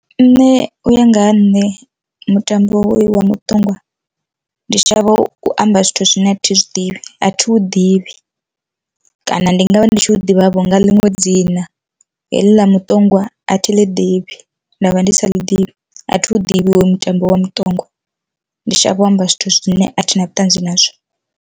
Nṋe uya ngaha nṋe mutambo hoyu wa muṱongwa ndi shavha u amba zwithu zwine athi zwidivhi athi vhu ḓivhi, kana ndi ngavha ndi tshi tou ḓivhavho nga ḽiṅwe dzina heḽi ḽa muṱongwa athi ḽi ḓivhi ndavha ndi sa ḽi ḓivhi athi hu ḓivhiwe mutambo wa muṱongwa, ndi shavha u amba zwithu zwine a thi na vhuṱanzi nazwo.